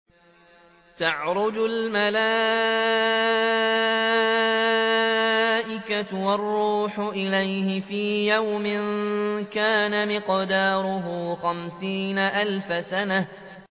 تَعْرُجُ الْمَلَائِكَةُ وَالرُّوحُ إِلَيْهِ فِي يَوْمٍ كَانَ مِقْدَارُهُ خَمْسِينَ أَلْفَ سَنَةٍ